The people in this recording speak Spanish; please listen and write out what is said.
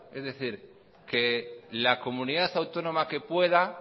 es decir que la comunidad autónoma que pueda